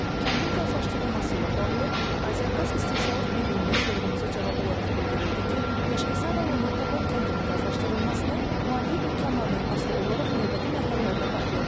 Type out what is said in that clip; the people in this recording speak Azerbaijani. Kəndin qazlaşdırılması ilə bağlı Azəriqaz istehsalat birliyindən sorğumuza cavab olaraq bildirildi ki, Daşkəsən rayonunun Tapan kəndinin qazlaşdırılmasına maliyyə imkanlarından asılı olaraq növbəti mərhələlərdə baxıla bilər.